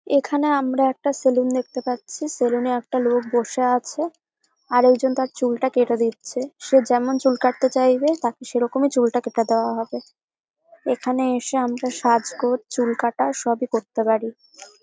এখানে আমরা একটা সেলুন দেখতে পাচ্ছি সেলুন এ একটা লোক বসে আছে আর একজন তার চুলটা কেটে দিচ্ছে সে যেমন চুল কাটতে চাইবে তাকে সেরকমই চুলটা কেটে দেওয়া হবে এখানে এসে আমরা সাজগোজ চুল কাটা সবই করতে পারি।